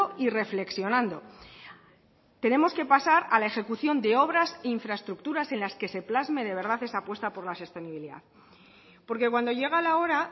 y reflexionando tenemos que pasar a la ejecución de obras e infraestructuras en las que se plasme de verdad esa apuesta por la sostenibilidad porque cuando llega la hora